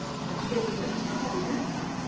Hefurðu eitthvað í huga?